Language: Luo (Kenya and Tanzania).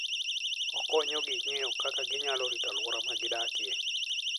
Okonyo ji ng'eyo kaka ginyalo rito alwora ma gidakie.